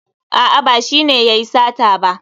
A'a ba shi ne yayi sata ba.